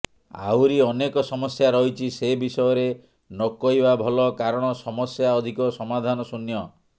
ଆହୁରି ଅନେକ ସମସ୍ୟା ରହିଛି ସେ ବିଷୟରେ ନକହିବା ଭଲ କାରଣ ସମସ୍ୟା ଅଧିକ ସମାଧାନ ଶୂନ୍ୟ